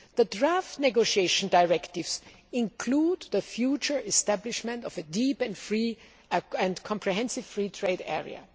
The draft negotiation directives include the future establishment of a deep and comprehensive free trade